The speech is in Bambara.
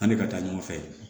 An bɛ ka taa ɲɔgɔn fɛ